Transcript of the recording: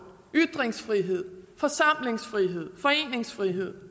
ytringsfrihed forsamlingsfrihed foreningsfrihed